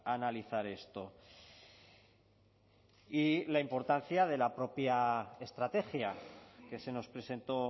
analizar esto y la importancia de la propia estrategia que se nos presentó